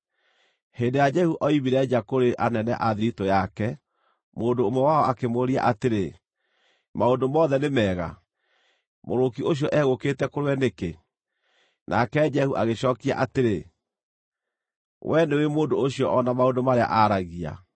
Hĩndĩ ĩrĩa Jehu ooimire nja kũrĩ anene a thiritũ yake, mũndũ ũmwe wao akĩmũũria atĩrĩ, “Maũndũ mothe nĩ mega? Mũgũrũki ũcio egũũkĩte kũrĩ we nĩkĩ?” Nake Jehu agĩcookia atĩrĩ, “Wee nĩũũĩ mũndũ ũcio o na maũndũ marĩa aaragia.”